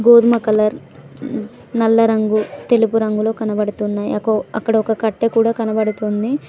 గోధుమ కలర్ ఉం నల్ల రంగు తెలుపు రంగులు కనబడుతున్నాయి అకు అక్కడ ఒక కట్టె కూడా కనబడుతుంది.